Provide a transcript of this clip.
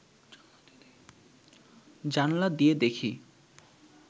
জানলা দিয়ে দেখি